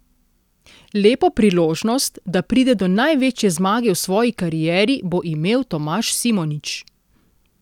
Lepo priložnost, da pride do največje zmage v svoji karieri, bo imel Tomaž Simonič.